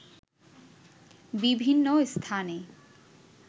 বিভিন্ন স্থানে